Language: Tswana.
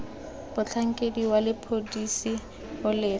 motlhankedi wa sepodisi o leka